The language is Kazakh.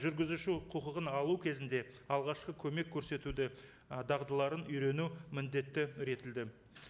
жүргізуші құқығын алу кезінде алғашқы көмек көрсетуді і дағдаларын үйрену міндетті